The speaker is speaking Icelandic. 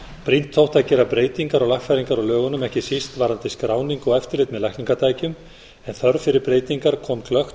brýnt þótti að gera breytingar og lagfæringar á lögunum ekki síst varðandi skráningu og eftirlit með lækningatækjum en þörf fyrir breytingar kom glöggt